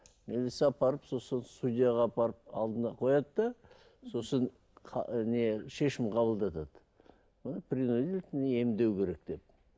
милиция апарып сосын судьяға апарып алдына қояды да сосын не шешім қабылдатады оны принудительно емдеу керек деп